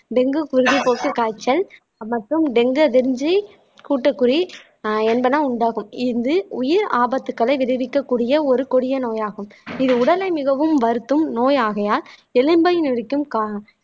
dengue குருதி போக்கு காய்ச்சல் மற்றும் டெங்கு அதிர்ஞ்சி கூட்டுக்குறி ஆஹ் என்பதனை உண்டாக்கும் இது உயிர் ஆபத்துக்களை விளைவிக்கக்கூடிய ஒரு கொடிய நோயாகும் இது உடலை மிகவும் வருத்தும் நோய் ஆகையால் எலும்பை முறிக்கும் கா